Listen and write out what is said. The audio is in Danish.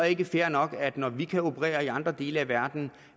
ikke fair nok at når vi kan operere i andre dele af verden